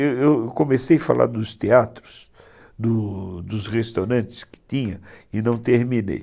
Eu eu comecei a falar dos teatros, dos restaurantes que tinha, e não terminei.